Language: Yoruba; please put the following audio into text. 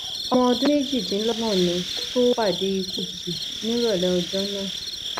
ọmọ ọdún méjìdínlọgbọn ni kó tóó pàdé ikú òjijì nírọlẹ ọjọ náà